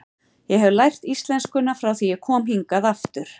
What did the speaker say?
Ég hef lært íslenskuna frá því ég kom hingað aftur.